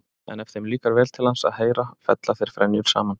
En ef þeim líkar vel til hans að heyra fella þeir frenjur saman.